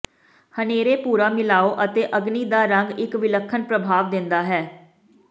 ਹਨੇਰੇ ਭੂਰਾ ਮਿਲਾਓ ਅਤੇ ਅਗਨੀ ਦਾ ਰੰਗ ਇੱਕ ਵਿਲੱਖਣ ਪ੍ਰਭਾਵ ਦਿੰਦਾ ਹੈ